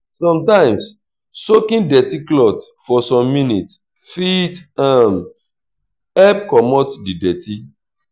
sometimes soaking dirty cloth for some minutes fit um help comot di dirty